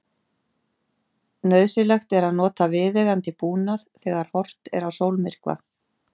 Nauðsynlegt er að nota viðeigandi búnað þegar horft er á sólmyrkva.